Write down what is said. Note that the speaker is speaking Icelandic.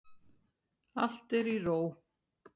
Allt er í ró.